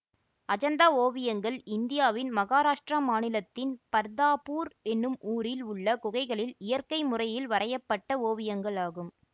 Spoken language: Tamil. அஜந்தா ஓவியங்கள் இந்தியாவின் மகாராஷ்டிரா மாநிலத்தின் பர்தாபூர் என்னும் ஊரில் உள்ள குகைகளில் இயற்கை முறையில் வரைய பட்ட ஓவியங்கள்ஆகும்